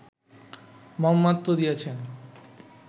মর্মার্থ দিয়াছেন